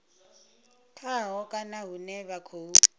khaho kana hune vha khou